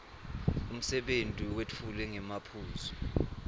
umsebenti wetfulwe ngemaphuzu